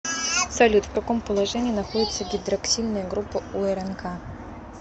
салют в каком положении находится гидроксильная группа у рнк